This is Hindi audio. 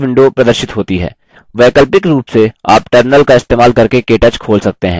वैकल्पिक रूप से आप terminal का इस्तेमाल करके केटच खोल सकते हैं